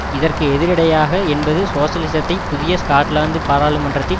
இதற்கு எதிரிடையாக என்பது சோசலிசத்தை புதிய ஸ்காட்லாந்து பாராளுமன்றத்தின்